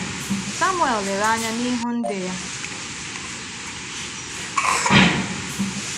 Samuel lere anya n’ihu ndị ya.